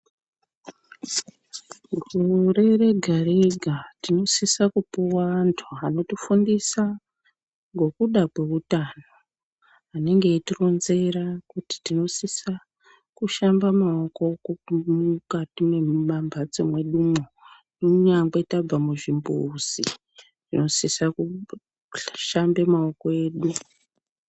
Gore rega rega tinosisa kupuwa antu anotifundisa ngekuda kweutano. Anenge eitironzera kuti tinosisa kushamba maoko mukati mwemambatso mwedumwo kunyangwe tabve kuchimbuzi tinosisa kushambe maoko edu.